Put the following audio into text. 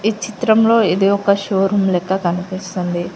చిత్రంలో ఇది ఒక్క షోరూం లెక్క కనిపిస్తుంది.